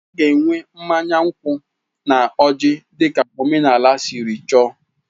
A ga-enwe mmanya nkwụ na ọjị dị ka omenala siri chọọ.